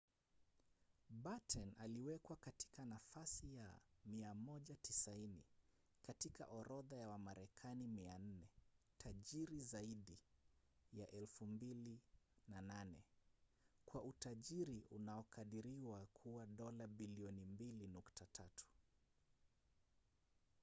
batten aliwekwa katika nafasi ya 190 katika orodha ya wamarekani 400 tajiri zaidi ya 2008 kwa utajiri unaokadiriwa kuwa dola bilioni 2.3